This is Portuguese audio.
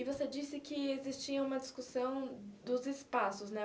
E você disse que existia uma discussão dos espaços, né?